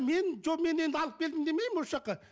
мен жоқ мен енді алып келдім демеймін осы жаққа